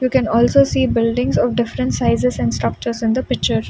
You can also see buildings of different sizes and structures in the picture.